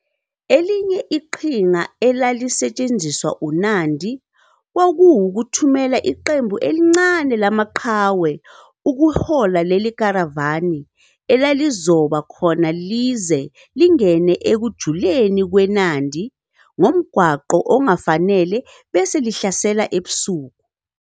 "Elinye iqhinga elalisetshenziswa uNandi kwakuwukuthumela iqembu elincane lamaqhawe ukuhola leli karavani elalizoba khona lize lingene ekujuleni kweNandi ngomgwaqo ongafanele bese lihlasela ebusuku.